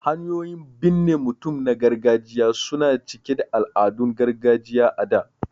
Hanyoyin binne mutum na gargajiya su na cike da al'adun gargajiya a da.